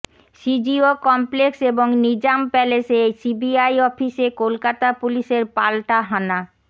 CGO complex এবং নিজাম প্যালেসে CBI অফিসে কলকাতা পুলিশের পালটা হানা